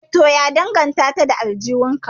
Eh to ya danganta da aljihun ka